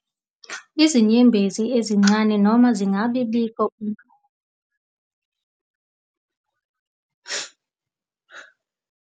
Izinyembezi ezincane noma zingabibikho uma zikhala. Ukuchama kancane noma amanabukeni amanzi amancane kunokujwayelekile.